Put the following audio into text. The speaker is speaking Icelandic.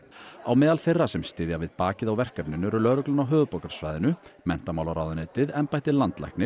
á meðal þeirra sem styðja við bakið á verkefninu eru lögreglan á höfuðborgarsvæðinu menntamálaráðuneytið embætti landlæknis